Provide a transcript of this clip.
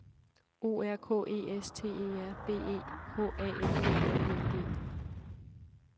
O R K E S T E R B E H A N D L I N G